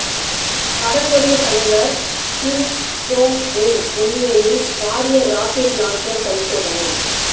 வடகொரிய தலைவர் Kim Jong Un முன்னிலையில் பாரிய ரொக்கெட் லோஞ்சர் பரிசோதனை